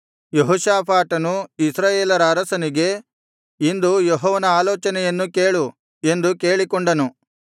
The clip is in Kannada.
ಯೆಹೋಷಾಫಾಟನು ಇಸ್ರಾಯೇಲರ ಅರಸನಿಗೆ ಇಂದು ಯೆಹೋವನ ಆಲೋಚನೆಯನ್ನು ಕೇಳು ಎಂದು ಕೇಳಿಕೊಂಡನು